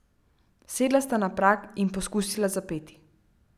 Sedla sta na prag in poskusila zapeti.